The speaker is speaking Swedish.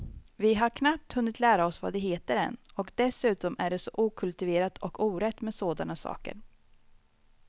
Vi har knappt hunnit lära oss vad de heter än, och dessutom är det så okultiverat och orätt med sådana saker.